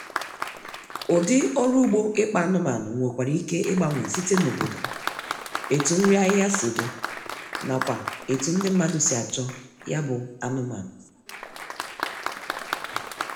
ụdị ọrụ ugbo ịkpa anụmanụ nwekwara ike igbanwe site n' obodo, etu nri ahịhịa si dị, nakwa etu ndi mmadụ si achọ ya bụ anụmanụ